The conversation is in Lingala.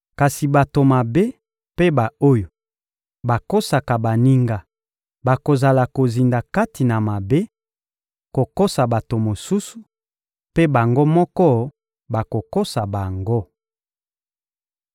Kasi bato mabe mpe ba-oyo bakosaka baninga bakozala kozinda kati na mabe, kokosa bato mosusu, mpe bango moko bakokosa bango.